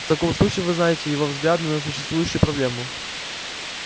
в таком случае вы знаете его взгляды на существующую проблему